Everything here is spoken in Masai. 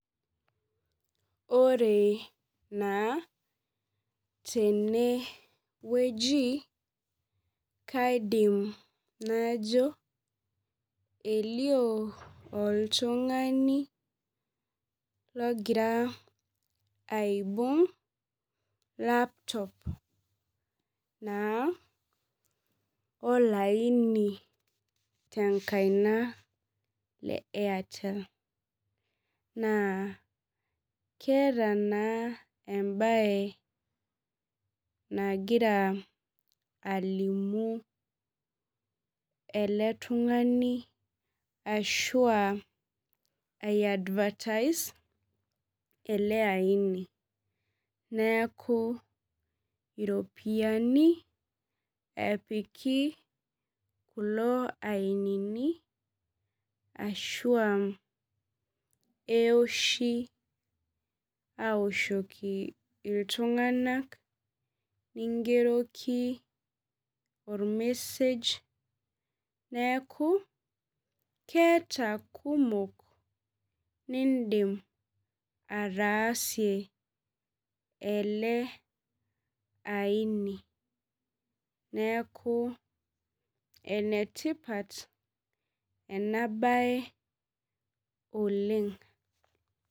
Ore naa tenewueji, kaidim najo elio oltung'ani logira aibung' laptop naa, olaini tenkaina le Airtel. Naa keeta naa ebae nagira alimu ele tung'ani ashua ai advertise ele aini. Neeku iropiyiani epiki kulo ainini ashua ewoshi awoshoki iltung'anak, nigeroki ormesej, neeku keeta kumok niidim ataasie ele aini. Neeku enetipat enabae oleng.